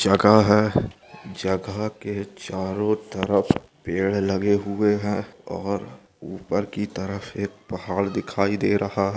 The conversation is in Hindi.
जगह है जगह के चारो तरफ पेड़ लगे हुए हैं औ ऊपर --